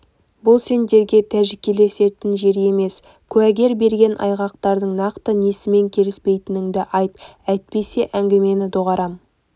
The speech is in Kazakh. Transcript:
бұл сендерге тәжікелесетін жер емес куәгер берген айғақтардың нақты несімен келіспейтініңді айт әйтпесе әңгімені доғартам